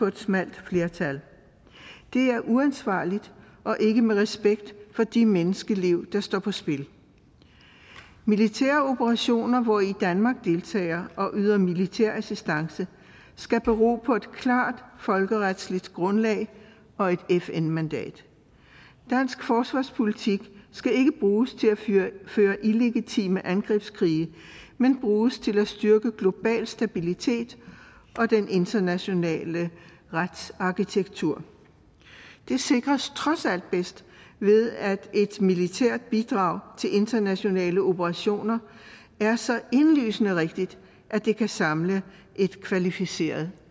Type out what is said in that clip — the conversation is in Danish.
et smalt flertal det er uansvarligt og ikke med respekt for de menneskeliv der står på spil militære operationer hvori danmark deltager og yder militær assistance skal bero på et klart folkeretligt grundlag og et fn mandat dansk forsvarspolitik skal ikke bruges til at føre illegitime angrebskrige men bruges til at styrke global stabilitet og den internationale retsarkitektur det sikres trods alt bedst ved at et militært bidrag til internationale operationer er så indlysende rigtigt at det kan samle et kvalificeret